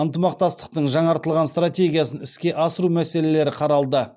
ынтымақтастықтың жаңартылған стратегиясын іске асыру мәселелері қаралды